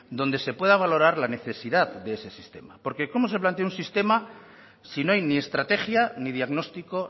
donde se pueda valorar la necesidad de ese sistema porque cómo se plantea un sistema si no hay ni estrategia ni diagnóstico